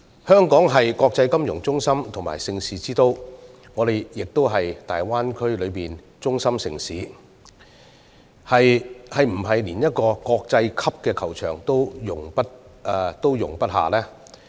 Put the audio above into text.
香港是國際金融中心和盛事之都，而我們亦是大灣區內的中心城市，是否連一個國際級球場也容不下呢？